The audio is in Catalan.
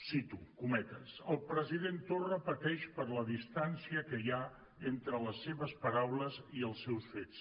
cito cometes el president torra pateix per la distància que hi ha entre les seves paraules i els seus fets